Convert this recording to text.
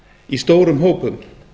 í stórum hópum